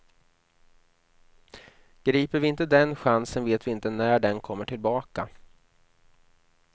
Griper vi inte den chansen vet vi inte när den kommer tillbaka.